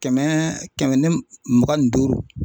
Kɛmɛ kɛmɛ ni mugan ni duuru.